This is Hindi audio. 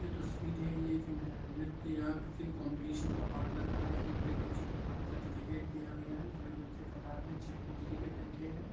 यह तस्वीर है यह एक नृत्य या किसी कम्पटीशन का पार्ट लग रहा है इसमें सभी बच्चे को हाथ मैं सर्टिफिकेट दिया गया है सभी बच्चे क़तर में चेयर कुर्सी पे बैठे है।